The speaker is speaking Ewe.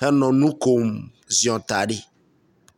henɔ nu kom ziɔ ta ɖi